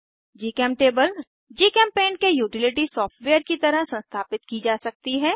जीचेमटेबल GChemPaint के utility software की तरह संस्थापित की जा सकती है